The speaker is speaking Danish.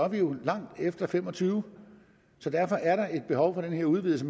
vi jo langt efter og fem og tyve så derfor er der et behov for den udvidelse